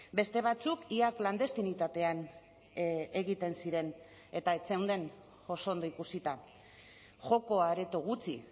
beste batzuk ia klandestinitatean egiten ziren eta ez zeuden oso ondo ikusita joko areto gutxi